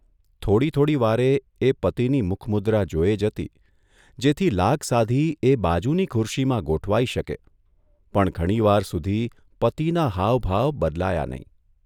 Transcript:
થોડી થોડી વારે એ પતિની મુખમુદ્રા જોયે જતી જેથી લાગ સાધી એ બાજુની ખુરશીમાં ગોઠવાઇ શકે પણ ઘણીવાર સુધી પતિના હાવભાવ બદલાયા નહીં.